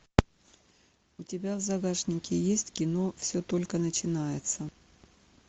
у тебя в загашнике есть кино все только начинается